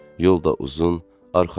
Yol da uzun, arxayın ol.